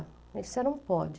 Ele disse, você não pode.